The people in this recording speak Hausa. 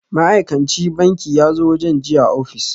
Ma'aikan ci banki yazo wajen jiya a ofis